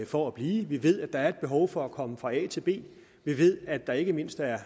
for at blive vi ved at der er et behov for at komme fra a til b vi ved at der ikke mindst er